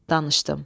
Danışdım,